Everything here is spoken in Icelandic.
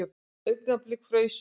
Augnablik fraus hún.